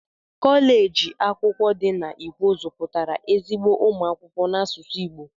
Koleji akwụkwọ di na ikwo zuputara ezigbo umu akwụkwọ n'asụsụ Igbo.